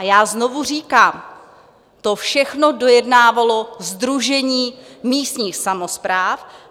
A já znovu říkám, to všechno dojednávalo Sdružení místních samospráv.